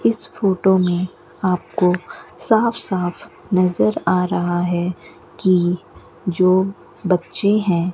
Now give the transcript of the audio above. इस फोटो में आपको साफ साफ नजर आ रहा है कि जो बच्चे हैं।